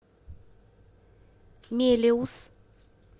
мелеуз